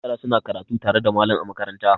Yara suna karatu tare da malam a makaranta.